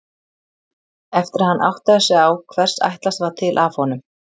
Eftir að hann áttaði sig á hvers ætlast var til af honum.